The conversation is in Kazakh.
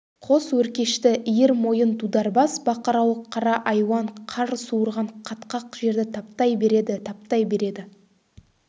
қос өркешті иір мойын дударбас бақырауық қара айуан қар суырған қатқақ жерді таптай береді таптай береді